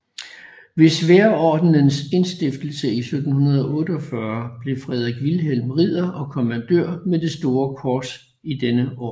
Ved Sværdordenens indstiftelse i 1748 blev Fredrik Vilhelm ridder og kommandør med det store kors i denne orden